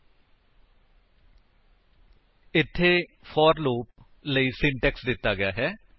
http spoken tutorial org ਇੱਥੇ for loop ਲਈ syntax ਦਿੱਤਾ ਗਿਆ ਹੈ